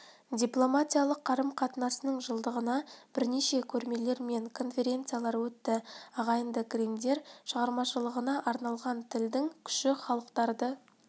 дипломатиялық қарым-қатынасының жылдығына бірнеше көрмелер мен конференциялар өтті ағайынды гриммдер шығармашылығына арналған тілдің күші халықтарды